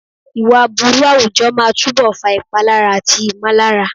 Ìwà aburú àwùjọ máa túbọ̀ fa ìpalára àti ìmọ̀lára.